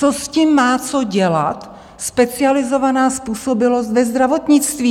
Co s tím má co dělat specializovaná způsobilost ve zdravotnictví?